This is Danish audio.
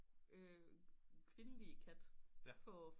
kvindelige kat for